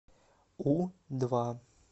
у два